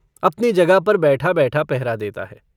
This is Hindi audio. अपनी जगह पर बैठाबैठा पहरा देता है।